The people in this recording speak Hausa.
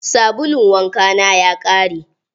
Sabulun wanka na ya ƙare.